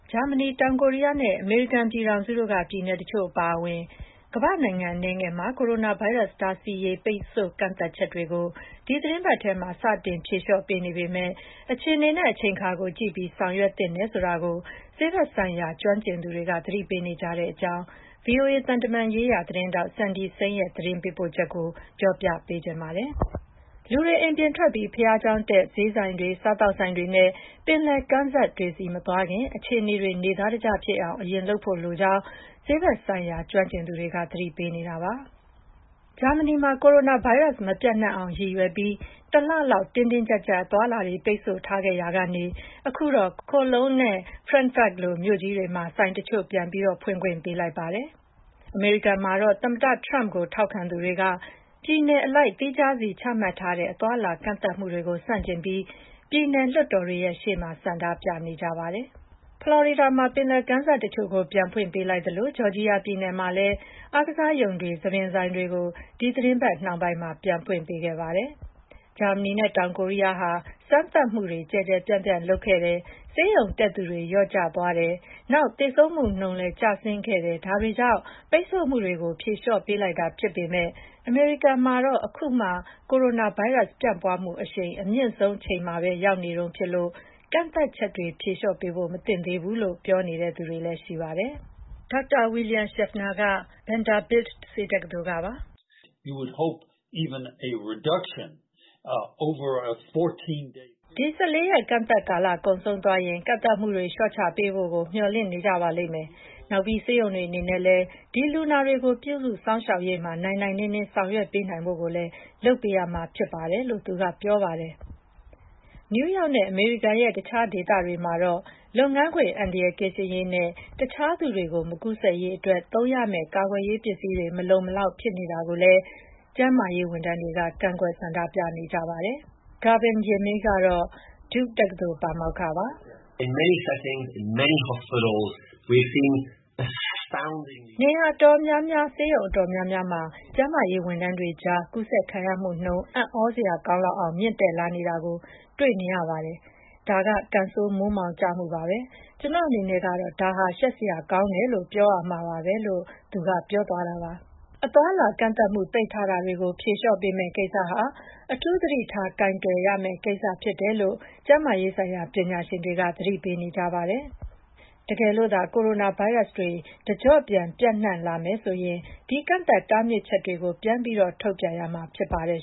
ဂျာမနီ၊ တောင်ကိုရီးယားနဲ့ အမေရိကန်ပြည်ထောင်စုက ပြည်နယ်တချို့ အပါအဝင် ကမ္ဘာ့နိုင်ငံ အနည်းငယ်မှာ ကိုရိုနာဗိုင်းရပ်စ် တားဆီးရေး ပိတ်ဆို့ကန့်သတ်ချက်တွေကို ဒီသီတင်းပတ်ထဲမှာ စတင်ဖြေလျော့ပေးနေပေမယ့် အခြေအနေနဲ့ အချိန်အခါကို ကြည့်ပြီး ဆောင်ရွက်သင့်တယ်ဆိုတာကို ဆေးဘက်ဆိုင်ရာ ကျွမ်းကျင်သူတွေက သတိပေးနေကြပါတယ်။ ဒီအကြောင်းနဲ့ ပတ်သက်လို့ ဗွီအိုအေ သံတမန်ရေးရာ သတင်းထောက် Cindy Saine ရဲ့ သတင်းပေးပို့ချက်ကို မခွာညို တင်ပြပေးထားပါတယ်။ လူတွေ အိမ်ပြင်ထွက်ပြီး ဘုရားကျောင်းတက်၊ ဈေးဆိုင်တွေ၊ စားသောက်ဆိုင်တွေနဲ့ ပင်လယ်ကမ်းစပ်တွေဆီ မသွားခင် အခြေအနေတွေ နေသားတကျဖြစ်အောင် အရင်လုပ်ဖို့လိုကြောင်း ဆေးဘက်ဆိုင်ရာ ကျွမ်းကျင်သူတွေက သတိပေးနေပါတယ်။ ဂျာမနီမှာ ကိုရိုနာဗိုင်းရပ်စ် မပျံ့နှံ့အောင်ရည်ရွယ်ပြီး တလလောက် တင်းတင်းကျပ်ကျပ် အသွားအလာ ပိတ်ဆို့ထားခဲ့ရာကနေ အခုတော့ Cologne နဲ့ Frankfurt လို မြို့ကြီးတွေမှာ ဆိုင်တချို့ ပြန်ဖွင့်ခွင့်ပေးလိုက်ပါတယ်။ ဖလော်ရီဒါမှာတော့ ပယ်လယ်ကမ်းစပ်တချို့ကို ပြန်ဖွင့်ပေးလိုက်သလို ဂျော်ဂျီယာပြည်နယ်မှာလည်း အားကစားရုံတွေ၊ ဆံသဆိုင်တွေကို ဒီသီတင်းပတ် နှောင်းပိုင်းမှာ ပြန်ဖွင့်ခဲ့ကြပါတယ်။ ဂျာမနီနဲ့ တောင်ကိုရီးယားဟာ စမ်းသပ်မှုတွေ ကျယ်ကျယ်ပြန့်ပြန့် လုပ်ခဲ့တယ်၊ ဆေးရုံတက်သူ လျော့ကျသွားတယ်၊ နောက် သေဆုံးမှုနှုန်းလည်း ကျဆင်းခဲ့တာတွေကြောင့် ပိတ်ဆို့မှုတွေကို ဖြေလျော့ပေးလိုက်တာဖြစ်ပေမယ့် အမေရိကန်မှာတော့ အခုမှ ကိုရိုနာဗိုင်းရပ်စ် ပြန့်ပွားမှုအရှိန် အမြင့်ဆုံးအချိန်မှာ ရောက်နေတုန်းဖြစ်လို့ ကန့်သတ်ချက်တွေ ဖြေလျော့ပေးဖို့ မသင့်သေးဘူးလို့ ပြောသူတွေလည်း ရှိပါတယ်။ ဒေါက်တာ William Schaffner ကလည်း Vanderbilt ဆေးတက္ကသိုလ်ကပါ။ “ဒီ ၁၄ ရက် ကန့်သတ်ကာလကုန်သွားရင် ကန့်သတ်မှုတွေ လျှော့ချပေးဖို့ကို မျှော်လင့်နေပါလိမ့်မယ်။ နောက်ပြီး ဆေးရုံတွေအနေနဲ့လည်း ဒီလူနာတွေကို ပြုစုစောင့်ရှောက်ရေးမှာ နိုင်နိုင်နင်းနင်း ဆောင်ရွက်ပေးနိုင်ဖို့လည်း လုပ်ပေးရမှာဖြစ်ပါတယ်။” လို့ သူက ပြောပါတယ်။ နယူးယောက်နဲ့ အမေရိကန်ရဲ့ တခြားဒေသတွေမှာတော့ လုပ်ငန်းခွင် အန္တရာယ်ကင်းရှင်းရေးနဲ့ တခြားသူတွေကို မကူးစက်စေရေးအတွက် သုံးရမယ့် ကာကွယ်ရေးပစ္စည်းတွေ မလုံမလောက် ဖြစ်နေတာကိုလည်း ကျန်းမာရေးဝန်ထမ်းတွေက ကန့်ကွက် ဆန္ဒပြနေကြပါတယ်။ Gavin Yamey ကတော့ Duke တက္ကသိုလ်က ပါမောက္ခပါ။ “နေရာအတော်များများ၊ ဆေးရုံအတော်များများမှာ ကျန်းမာရေးဝန်ထမ်းတွေကြား ကူးစက်ခံရမှုနှုန်းက အံ့သြစရာကောင်းလောက်အောင် မြင့်တက်လာနေတာကို မြင်နေကြရပါတယ်။ ဒါက ကံဆိုးမိုးမှောင်ကျမှုပါပဲ။ ကျနော့်အနေနဲ့ကတော့ ဒါဟာ ရှက်စရာကောင်းတယ်လို့ ပြောရမှာပါပဲ။” လို့ သူက ပြောပါတယ်။ အသွားအလာကန့်သတ်မှု ပိတ်ထားတာတွေကို ဖြေလျှော့ပေးမယ့်ကိစ္စဟာ အထူးသတိထား ကိုင်တွယ်ရမယ့်ကိစ္စ ဖြစ်တယ်လို့ ကျန်းမာရေးဆိုင်ရာ ပညာရှင်တွေက သတိပေးနေကြပါတယ်။ တကယ်လို့သာ ကိုရိုနာဗိုင်းရပ်စ်တွေ တကျော့ပြန် ပျံ့နှံ့လာမယ်ဆိုရင် ဒီကန့်သတ်တားမြစ်ချက်တွေကို ပြန်ပြီး ထုတ်ပြန်ရမှာ ဖြစ်ပါတယ်